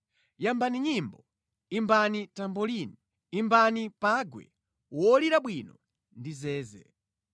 Yambani nyimbo, imbani tambolini imbani pangwe wolira bwino ndi zeze.